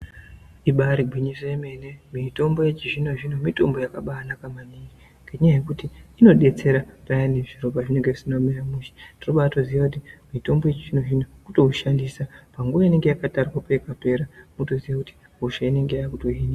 Ibari gwinyo yemene mitombo yechizvinozvino mitombo yakanaka kwemene, ngenyaya yekuti inodetsera payani zviro pazvinenge zvisina kumira mushe tinobatoziya kuti mitombo yechizvinozvino zvino kutoushandisa panguwa inenge yakatarwa peinopera wotoziya kuti hosha inenge yava kutopera.